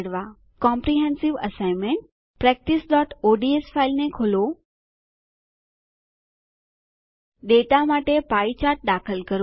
comprehensive assignment practiceઓડ્સ ફાઈલને ખોલો ડેટા માટે પી ચાર્ટ દાખલ કરો